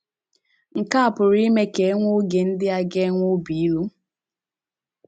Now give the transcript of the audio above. Nke a pụrụ ime ka e nwee oge ndị a ga - enwe obi ilu.